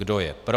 Kdo je pro?